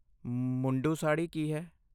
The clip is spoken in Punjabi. ਮੁੰਡੂ ਸਾੜ੍ਹੀ ਕੀ ਹੈ?